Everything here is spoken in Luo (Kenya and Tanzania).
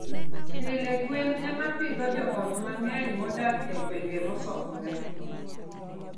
Pile, gwen ema pidho joot mang'eny modak e gwenge mosokore.